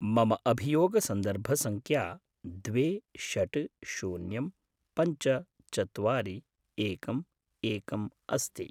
मम अभियोगसन्दर्भसङ्ख्या द्वे षट् शून्यं पञ्च चत्वारि एकम् एकम् अस्ति।